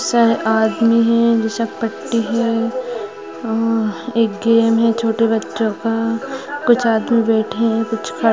सारे आदमी है विशालपट्टी है और एक गेम है। छोटे बच्चों का कुछ आदमी बैठे हैं कुछ खड़े --